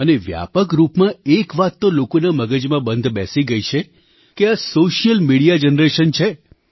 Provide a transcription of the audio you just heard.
અને વ્યાપક રૂપમાં એક વાત તો લોકોના મગજમાં બંધ બેસી ગઈ છે કે આSocial મીડિયા જનરેશન છે